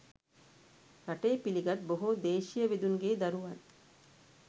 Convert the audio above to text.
රටේ පිළිගත් බොහෝ දේශීය වෙදුන්ගේ දරුවන්